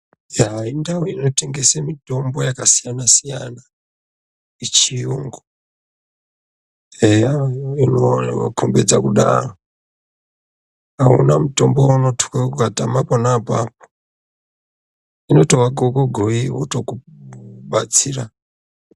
Yaa indau inotengese mitombo yakasiyana siyana yechiyungu, eya inokombidza kudaro auna mutombo waunotuke ukatama pona apapo inotova gogogoi votokubatsira.